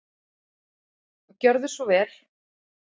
Gjörðu svo vel.